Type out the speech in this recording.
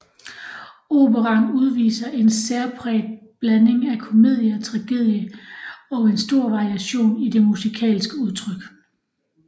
Operaen udviser en særpræget blanding af komedie og tragedie og en stor variation i det musikalske udtryk